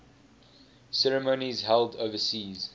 ceremonies held overseas